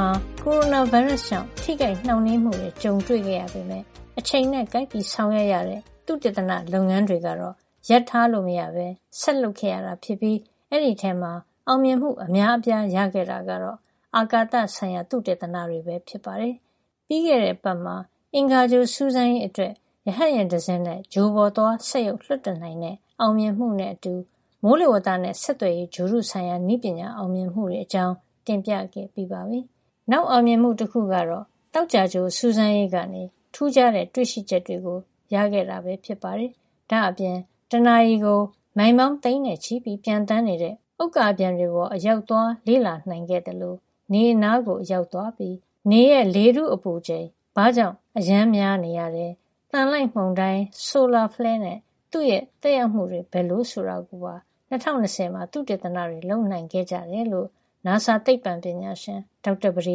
မှာ ကိုရိုနာဗိုင်းရပ်စ်ကြောင့် ထိခိုက်နှောင့်နှေးမှုတွေကြုံရပေမယ့် အချိန်နဲ့ကိုက်ပြီး ဆောင်ရွက်ရတဲ့သုတေသနလုပ်ငန်းတွေကတော့ ရပ်ထားလို့မရပဲ ဆက်လုပ်ခဲ့ရတာ ဖြစ်ပြီး အဲဒီအထဲမှာ အောင်မြင်မှုအများအပြား ရခဲ့တာကတော့ အာကာသဆိုင်ရာ သုတေသနတွေ ပဲဖြစ်ပါတယ်။ ပြီးခဲ့တဲ့အပတ်မှာ အင်္ဂါဂြိုဟ် စူးစမ်းရေးအတွက် ရဟတ်ယာဉ်တစင်းနဲ့ ဂြိုဟ်ပေါ်သွားစက်ရုပ် လွှတ်တင်နိုင်တဲ့ အောင်မြင်မှု နဲ့ အတူ မိုးလေဝဿနဲ့ ဆက်သွယ်ရေး ဂြိုဟ်တု ဆိုင်ရာနည်းပညာ အောင်မြင်မှုတွေ အကြောင်း တင်ပြခဲ့ပြီးပါပြီ။ နောက် အောင်မြင်မှုတခု ကတော့သောကြာဂြိုဟ် စူးစမ်းရေးကနေ ထူးခြားတဲ့ တွေ့ရှိချက်တွေ ရခဲ့တာပါ။ ဒါ့အပြင် တနာရီကို မိုင်ပေါင်း သိန်းနဲ့ချီပျံသန်းနေတဲ့ ဥက္ကာပျံတွေပေါ် အရောက် သွားလေ့လာနိုင်ခဲ့သလို နေအနားကို အရောက်သွားပြီး နေရဲ့ လေထုအပူချိန်ဘာကြောင့် အရမ်းများနေရတယ်၊ သံလိုက်မုန်တိုင်း solar flare နဲ့ သူ့ရဲ့သက်ရောက်မှု တွေဘယ်လို ဆိုတာကိုပါ ၂၀၂၀ မှာ သုတေသန လုပ်နိုင်ခဲ့ကြတယ်လို့ နာဆာ သိပ္ပံပညာရှင် ဒေါက်တာ ပဒေ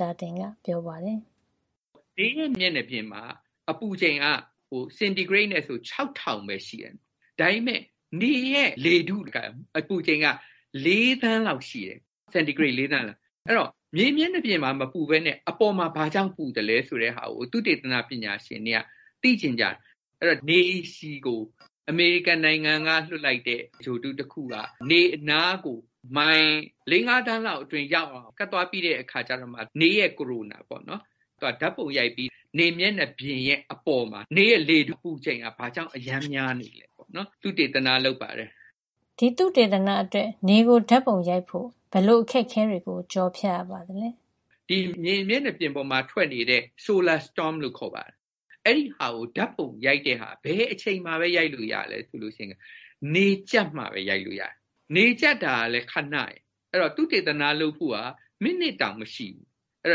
သာတင်က ပြောပါတယ်။ “နေရဲ့ မျက်နှာပြင်မှာ အပူချိန်က စင်တီဂရိတ်နဲ့ဆို ၆၀၀၀ ပဲ ရှိတယ်။ ဒါပေမယ့် နေရဲ့လေထု အပူချိန်က စင်တီဂရိတ် ၄ သန်းရှိတယ်။ အဲဒီတော့ နေရဲ့ မျက်နှာပြင်မှာ မပူပဲနဲ့ ဘာကြောင့် အပေါ်မှာ ပူသလဲ ဆိုတာကို သုတေသနပညာရှင်တွေက သိချင်ကြတယ်။ အဲဒီတော့ နေဆီကို အမေရိကန်နိုင်ငံက လွှတ်လိုက်တဲ့ ဂြိုဟ်တု တခုက နေအနားကို မိုင် ၄ - ၅ သန်း လောက်အတွင်း ရောက်အောင် ကပ်သွားပြီး နေရဲ့ corona ကို ဓါတ်ပုံရိုက်ပြီး နေမျက်နှာပြင်ရဲ့ အပေါ် နေရဲ့လေထု အပူချိန်က ဘာကြောင့် အရမ်းများနေသလဲ ဆိုတာကို သုတေသန လုပ်ပါတယ်။” “ဒီသုတေသနအတွက် နေကို ဓါတ်ပုံရိုက်ဖို့ ဘယ်လိုအခက်ခဲတွေကို ကျော်ဖြတ်ရပါသလဲ” “ ဒီနေမျက်နှာပြင်မှာ ထွက်နေတဲ့ solar storm လို့ခေါ်ပါတယ်။ အဲဒီဟာကို ဓါတ်ပုံရိုက်တဲ့ဟာက ဘယ်အချိန်မှာပဲ ရိုက်လို့ရသလဲ ဆိုတော့ နေကြပ်မှပဲ ရိုက်လို့ရတယ်။ နေကြပ်တာကလည်း ခဏပဲ ဆိုတော့ သုတေသန လုပ်ဖို့က မိနစ်တောင် မရှိဘူး။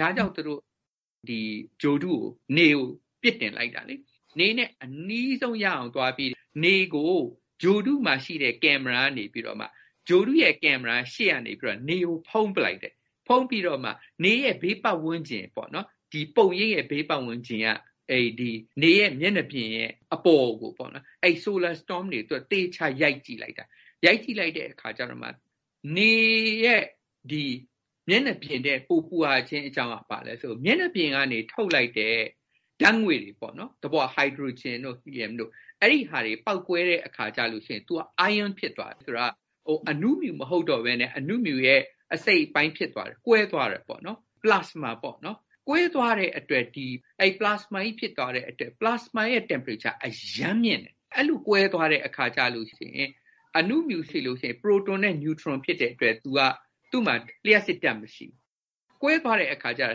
ဒါ့ကြောင့် နေဆီကို ဂြိုဟ်တု ပစ်တင်လိုက်တာပါ။ သူက နေနဲ့အနီးဆုံးကို သွားပြီး နေကို ဂြိုဟ်တုမှာရှိတဲ့ ကင်မရာကနေပြီးတော့မှ ဂြိုဟ်တုရဲ့ကင်မရာကနေ နေကို ရှေ့ကနေဖုံးပစ်လိုက်တယ်။ ဖုံးပြီးတော့မှ နေရဲ့ ဘေးပတ်ဝန်းကျင် - ပုံရိပ်ရဲ့ ဘေးဝန်းကျင် နေမျက်နှာပြင်ရဲ့ အပေါ်က solar storm တွေကို ရိုက်လိုက်တယ်။ အဲဒီအခါမှာ နေမှာ မျက်နှာပြင် အထက်မှာ ဘာလို့ ပိုပူရတယ် ဆိုတာကို သိရတယ်။ အဲဒီမျက်နှာပြင်ကနေ ထုတ်လိုက်တဲ့ ဓါတ်ငွေ့တွေ ပေါ့နော်။ သဘောက ဟိုက်ဒရိုဂျင်တို့၊ ဟီလီယံတို့။ အဲဒါတွေ ပေါက်ကွဲတဲ့ အခါမှာ သူက ion ဖြစ်သွားတယ်။ ဆိုလိုတာက သူက အနုမြူ မဟုတ်တော့ပဲနဲ့ အနုမြူရဲ့ အစိတ်အပိုင်း ဖြစ်သွားတယ်။ ကွဲသွားတယ် ပေါ့နော်။ plasma ပေါ့နော်။ ကွဲသွားတဲ့ အတွက်၊ ဒီ plasma ကြီး ဖြစ်သွားတဲ့အတွက်။ ဒီ plasma ရဲ့ အပူချိန်က အရမ်းမြင့်တယ်။ အဲဒီလို ကွဲသွားလို့ရှိရင် အနုမြူဖြစ်လို့ရှိရင် သူက ပရိုတွန်နဲ့ နျူထရွန် ဖြစ်တဲ့အတွက်သူ့မှာ လ ျှပ်စစ်ဓါတ် မရှိဘူး။ ကွဲသွားတဲ့ အခါကျတော့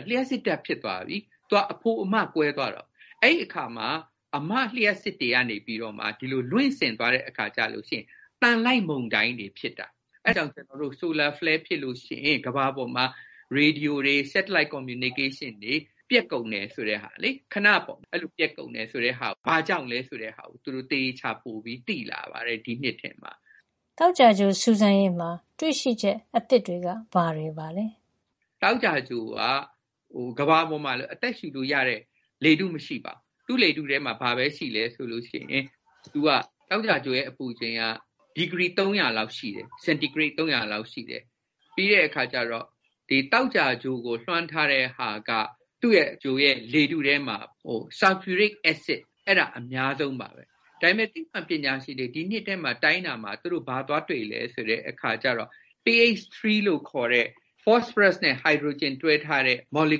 သူက လ ျှပ်စ်ဓါတ် ဖြစ်သွားပြီ။ သူက အဖိုအမ ကွဲသွားတာကိုး။ အဲဒီအခါမှာ အမ လ ျှပ်စစ် တွေက ဒီလို လွင့်စင်သွားတဲ့ အခါကျလို့ရှိရင် သံလိုက်မုန်တိုင်းတွေ ဖြစ်တာ။ အဲဒါကြောင့် solar flare ဖြစ်လို့ရှိရင် သံလိုက်မုန်တိုင်းတွေ ဖြစ်တာ။ အဲဒါကြောင့် solar flare ဖြစ်လို့ရှိရင် ကမ္ဘာပေါ်မှာ ရေဒီယိုတွေ စက်တလိုက်ဆက်သွယ်မှုတွေ satellite communication ပျက်ကုန်တာ ခဏပျက်ကုန်တာ ဘာကြောင့်လည်း ဆိုတာကို သူတို့ ဒီနှစ်ထဲမှာ သေသေချာချာ ပိုသိလာပါတယ်။ “သောကြာဂြိုဟ် စူးစမ်းရေးမှာ တွေ့ရှိချက် အသစ်တွေက ဘာတွေပါလဲ” “သောကြာဂြိုဟ်ပေါ်မှာက ကမ္ဘာပေါ်မှာလို အသက်ရှုလို့ရတဲ့ လေထုမရှိပါဘူး။ သောကြာဂြိုဟ်ရဲ့ လေထုကို ကြည့်ရင် သောကြာဂြိုဟ်ရဲ့ အပူချိန်က ဒီဂရီ ၃၀၀ လောက် ရှိတယ်။ စင်တီဂရိတ် ၃၀၀ လောက်ရှိတယ်။ သောကြာဂြိုဟ်ကို လွှမ်းထားတဲ့ သူ့ရဲ့လေထုထဲမှာက ဆာလ်ဖျူရစ် အက်စစ်က အများဆုံးပါ။ ဒါပေမယ့် သိပ္ပံပညာရှင်တွေ ဒီနှစ်ထဲ တိုင်းတဲ့အခါ ဘာသွားတွေ့လဲဆိုတော့ PH3 လို့ခေါ်တဲ့ ဖေါ့စဖရပ်စ်နဲ့ ဟိုက်ဒရိုဂျင်တွဲထားတဲ့ မော်လီ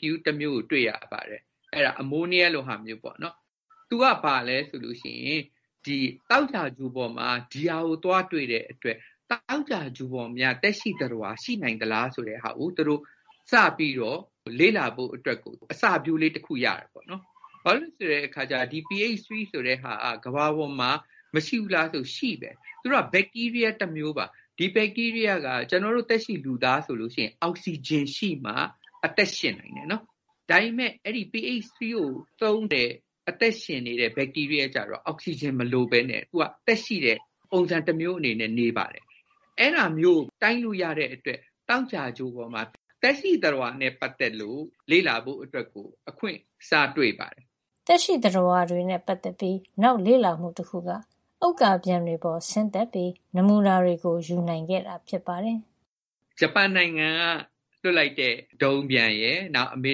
ကျူးတမျိုး ကို တွေ့ရပါတယ်။ အဲဒါ အမိုးနီးယား လိုဟာပါ။ သူကနေ ဘာကို ပြောနိုင်လဲဆိုတော့၊ သောကြာဂြိုဟ်ပေါ်မှာ ဒါကို သွားတွေ့တဲ့အတွက် သောကြာဂြိုဟ်ပေါ်မှာများ သက်ရှိသတ္တဝါ ရှိနိုင်သလား ဆိုတာကို စပြီး လေ့လာဖို့ အစပျိုးတဲ့ အချက်ရတာပေါ့နော်။ ဘာကြောင့်လည်းဆိုတော့ ဒီ PH3 ဆိုတာမျိုးဟာ ကမ္ဘာပေါ်မှာ ရှိပါတယ်။ သူတို့က ဘက်တီးရီးယားး တမျိုးပါ။ ဒီဘက်တီးရီးယားက ကျနော်တို့ လူသားဆိုအောက်ဆီဂျင် ရှိမှ အသက်ရှင်သလို ဒီ PH3 ကို သုံးပြီး အသက်ရှင်နေတဲ့ ဘက်တီးရီးယားကျတော့ သူက အောက်ဆီဂျင် မလိုပဲနဲ့ အသက်ရှိတဲ့ပုံစံ တမျိုးနဲ့ နေပါတယ်။ အဲဒါမျိုးကို တိုင်းလို့ရတဲ့အတွက် သောကြာဂြိုဟ်ပေါ်မှာ သက်ရှိသတ္တဝါနဲ့ ပတ်သက်ပြီး လေ့လာဖို့ အခွင့်အလန်း စတွေ့ခဲ့ပါတယ်။ “သက်ရှိသတ္တဝါတွေနဲ့ ပတ်သက်ပြီ နောက်လေ့လာမှု တခုက ဥက္ကာပျံတွေပေါ် ဆင်းပြီး နမူနာတွေ ယူနိုင်ခဲ့တာ ဖြစ်ပါတယ်” “ဂျပန်နိုင်ငံက လွှတ်လိုက်တဲ့ ဒုံးပျံရယ်၊ အမေ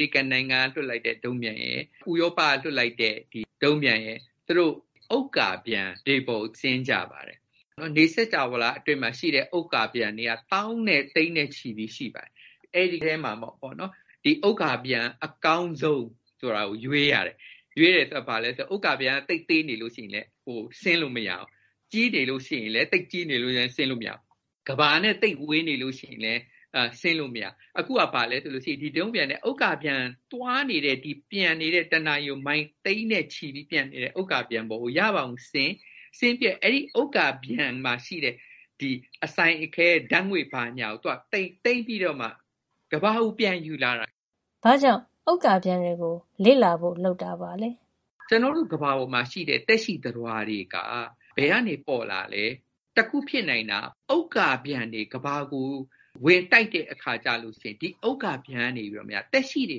ရိကန်နဲ့ ဥရောပက လွှတ်တဲ့ ဒုံးပျံတွေရယ်၊ သူတို့က ဥက္ကာပျံတွေ ပေါ်ကို ဆင်းကြပါတယ်။ ကျနော်တို့ နေစင်္ကြာဝဌာ အတွင်းမှာ ဥက္ကာပျံတွေက သောင်းနဲ့ သိန်းနဲ့ချီရှိပါတယ်။ အဲဒီထဲမှာမှ အကောင်းဆုံး ဥက္ကာပျံကို ရွေးရပါတယ်။ ရွေးရတဲ့ သဘောက ဘာလဲ ဆိုတော့ ဥက္ကာပျံက သိပ်သေးနေရင်လည်း ဆင်းလို့ မရပါဘူး။ သိပ်ကြီးနေရင်လည်း ဆင်းလို့မရဘူး။ ကမ္ဘာနဲ့ သိပ်ဝေးနေရင်လည်း မရဘူး။ အခုဟာကတော့ ဒီဒုံးပျံနဲ့ ဥက္ကာပျံက တနာရီကို မိုင် သိန်းနဲ့ချီ ပြီးသွားနေတဲ့ ပျံနေတဲ့ အပေါ်ကို ရအောင်ဆင်း၊ ဆင်းပြီးတော့ ဒီဥက္ကာပျံမှာ ရှိတဲ့ အစိုင်အခဲ၊ ဓါတ်ငွေ့ဘာညာကို သိမ်းပြီးတော့မှ ကမ္ဘာကိုပြန်ယူလာတာ။” “ဘာကြောင့် ဥက္ကာပျံတွေကို လေ့လာဖို့ လုပ်တာပါလဲ” “ ကျနော်တို့ ကမ္ဘာမှာ ရှိတဲ့ သက်ရှိသတ္တဝါတွေ ဘယ်ကနေ ပေါ်လာတာလဲ။ တခုရှိတာက တခုဖြစ်နိုင်တာက ဥက္ကာပျံတွေ ကမ္ဘာကို ဝင်တိုက်တဲ့ အခါကျရင် ဒီဥက္ကာပျံတွေကများ သက်ရှိတွေ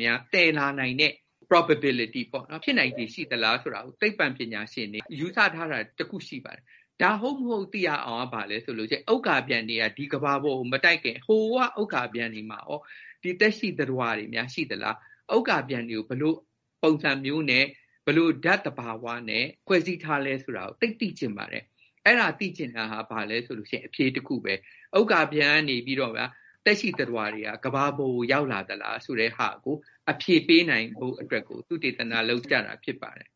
ကို သယ်လာနိုင်တဲ့ probability ဖြစ်နိုင်ခြေ ရှိသလား ဆိုပြီး သိပ္ပံပညာရှင်တွေ တွက်ထားတာ တခုရှိပါတယ်။ ဒါဟုတ်မဟုတ် သိရအောင် ဥက္ကာပျံတွေ ကမ္ဘာကို ဝင်မတိုက်ခင် အဲဒီ ဥက္ကာပျံတွေပေါ်မှာ သက်ရှိတွေများ ရှိနေသလား။ ဥက္ကာပျံတွေကို ဘယ်လို ပုံစံမျိုါ်နဲ့ ဘယ်လို ဓါတ်သဘာဝမျိုးနဲ့ ဖွဲ့စည်းထားသလဲ ဆိုတာကို သိပ်သိချင်ပါတယ်။ ဒါကို လေ့လာရင်း ဥက္ကာပျံတွေကနေ တဆင့် သက်ရှိတွေ ကမ္ဘာပေါ်ကို ရောက်လာသလား ဆိုတာကို အဖြေပေးနိုင်ဖို့ သုတေသန လုပ်ကြတာ ဖြစ်ပါတယ်